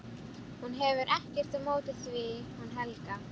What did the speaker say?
Hún hefur ekkert á móti því hún Helga.